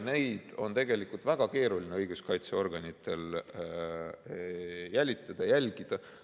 Neid asju on õiguskaitseorganitel tegelikult väga keeruline jälitada ja jälgida.